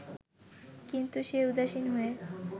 কিন্তু সে উদাসীন হয়ে